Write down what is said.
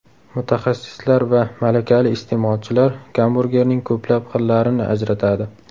Mutaxassislar va malakali iste’molchilar gamburgerning ko‘plab xillarini ajratadi.